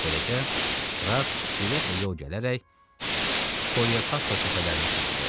Beləcə, Krass sürətlə yol gələrək Poliokaster təpələrinə çatdı.